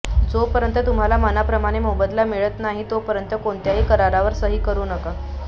जोपर्यंत तुम्हाला मनाप्रमाणे मोबदला मिळत नाही तोपर्यंत कोणत्याही करारावर सही करू नका